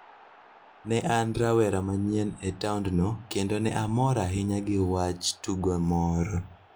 Ne en rawera manyien e taondno, kendo ne omor ahinya gi wach tugo moro.